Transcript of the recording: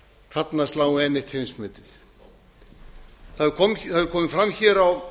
þarna sláum við enn eitt heimsmetið það hefur komið fram hér á